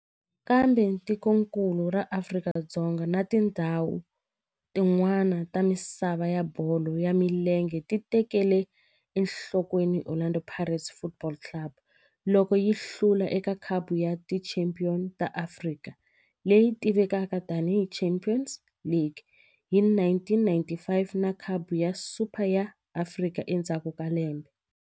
Kambe tikonkulu ra Afrika na tindzhawu tin'wana ta misava ya bolo ya milenge ti tekele enhlokweni Orlando Pirates Football Club loko yi hlula eka Khapu ya Tichampion ta Afrika, leyi tivekaka tani hi Champions League, hi 1995 na Khapu ya Super ya Afrika endzhaku ka lembe.